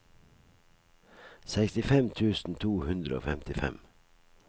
sekstifem tusen to hundre og femtifem